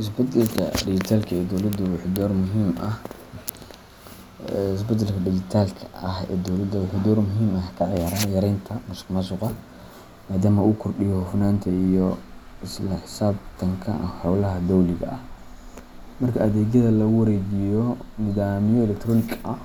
Isbeddelka dijitaalka ah ee dowladda wuxuu door muhiim ah ka ciyaaraa yareynta musuqmaasuqa, maadaama uu kordhiyo hufnaanta iyo isla xisaabtanka howlaha dowliga ah. Marka adeegyada lagu wareejiyo nidaamyo elektaroonig ah,